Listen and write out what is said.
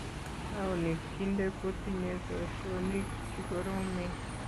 Taonit kinte kotinyei poishonik chikoromen.